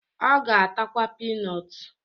Ọ ga-atakwa pinọt